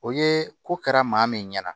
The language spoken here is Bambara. O ye ko kɛra maa min ɲɛna